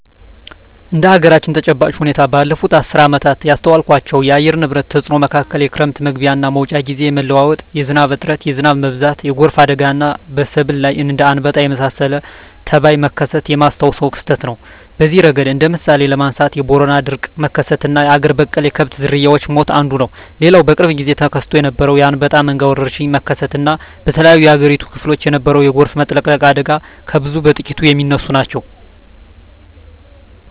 እንደ አገራችን ተጨባጭ ሁኔታ ባለፋት አስርት ዓመታት ካስተዋልኳቸው የአየር ንብረት ተጽኖ መካከል የክረም መግቢያና መውጫ ግዜ የመለዋወጥ፣ የዝናብ እጥረት፣ የዝናብ መብዛት፣ የጎርፍ አደጋና በሰብል ላይ እንደ አንበጣ የመሳሰለ ተባይ መከሰት የማስታውሰው ክስተት ነው። በዚህ እረገድ እንደ ምሳሌ ለማንሳት የቦረና የድርቅ መከሰትና አገር በቀል የከብት ዝርያወች ሞት አንዱ ነው። ሌላው በቅርብ ግዜ ተከስቶ የነበረው የአንበጣ መንጋ ወረርሽኝ መከሰት እና በተለያዮ የአገሪቱ ክፍሎች የነበረው የጎርፍ መጥለቅለቅ አደጋ ከብዙ በጥቂቱ ሚነሱ ናቸው።